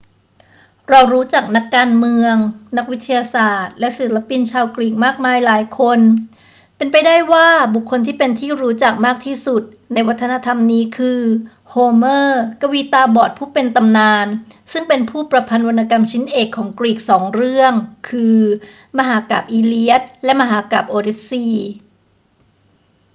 เรารู้จักนักการเมือง นักวิทยาศาสตร์ และศิลปินชาวกรีกมากมายหลายคน เป็นไปได้ว่าบุคคลที่เป็นที่รู้จักมากที่สุดในวัฒนธรรมนี้คือโฮเมอร์ กวีตาบอดผู้เป็นตำนาน ซึ่งเป็นผู้ประพันธ์วรรณกรรมชิ้นเอกของกรีกสองเรื่อง คือ มหากาพย์อีเลียดและมหากาพย์โอดิสซีย์